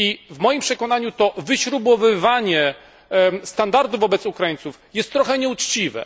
W moim przekonaniu to wyśrubowywanie standardów dla Ukraińców jest trochę nieuczciwe.